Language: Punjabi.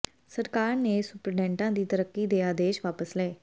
ਸਰਕਾਰ ਨੇ ਸੁਪਰਡੈਂਟਾਂ ਦੀ ਤਰੱਕੀ ਦੇ ਆਦੇਸ਼ ਵਾਪਸ ਲਏ